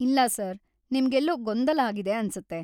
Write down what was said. ಇಲ್ಲ ಸರ್‌, ನಿಮ್ಗೆಲ್ಲೋ ಗೊಂದಲ ಆಗಿದೆ ಆನ್ಸತ್ತೆ.